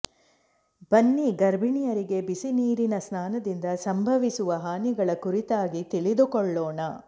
ಬನ್ನಿ ಗರ್ಭಿಣಿಯರಿಗೆ ಬಿಸಿ ನೀರಿನ ಸ್ನಾನದಿಂದ ಸಂಭವಿಸುವ ಹಾನಿಗಳ ಕುರಿತಾಗಿ ತಿಳಿದುಕೊಳ್ಳೋಣ